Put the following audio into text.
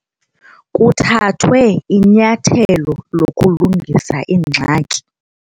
Kuthathwe inyathelo lokulungisa ingxaki.